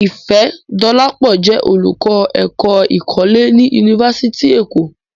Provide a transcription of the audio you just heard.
Ifẹ̀dọlápọ̀ jẹ́ olùkọ́ èkó̀ ìkọlẹ̀ ní Yunífásítì Èkọ́.